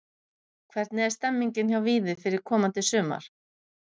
Hvernig er stemningin hjá Víði fyrir komandi sumar?